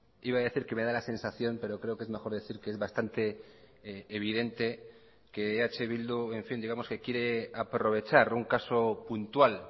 iba a decir que me da la sensación pero creo que es mejor decir que es bastante evidente que eh bildu en fin digamos que quiere aprovechar un caso puntual